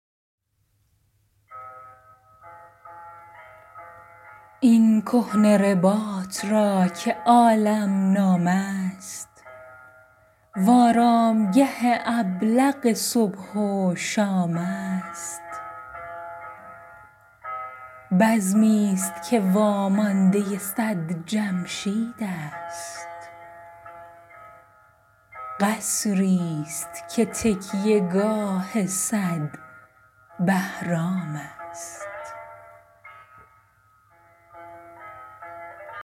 این کهنه رباط را که عالم نام است و آرامگه ابلق صبح و شام است بزمی ست که واماندۀ صد جمشید است قصری ست که تکیه گاه صد بهرام است